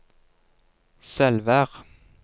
Selvær